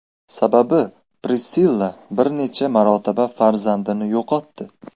Sababi Prissilla bir necha marotaba farzandini yo‘qotdi.